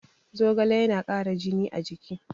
Zogale yana ƙara jini a jiki